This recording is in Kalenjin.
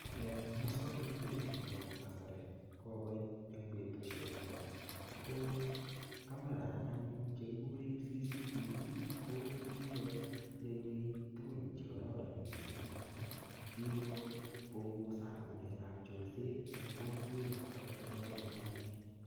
Eng muswagnatet nebo kasari kokoit eng betusiekap ra, ko camera anyun che kikure CCTV, ko kikoyaiwech tugun che kararan missing amu, kikopungusan ng'alekap chorset eng kokwet agot ole abunu anee.